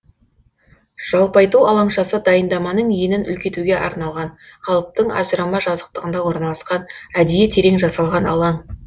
жалпайту алаңшасы дайындаманың енін үлкейтуге арналған қалыптың ажырама жазықтығында орналасқан әдейі терең жасалған алаң